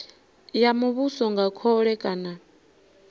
ya muvhuso nga khole kana